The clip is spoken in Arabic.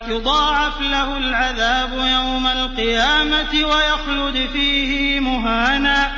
يُضَاعَفْ لَهُ الْعَذَابُ يَوْمَ الْقِيَامَةِ وَيَخْلُدْ فِيهِ مُهَانًا